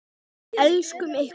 Elskum ykkur.